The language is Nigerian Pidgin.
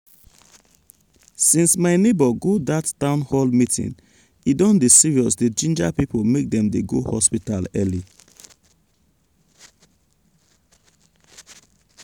since my neighbor go dat town hall meeting e don dey serious dey ginger people make dem dey go hospital early.